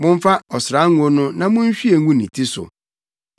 Momfa ɔsrango no na munhwie ngu ne ti so.